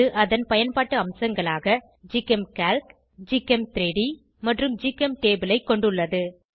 இது அதன் பயன்பாட்டு அம்சங்களாக ஜிகெம்கால்க் ஜிகெம்3டி மற்றும் ஜிகெம்டேபுள் ஐ கொண்டுள்ளது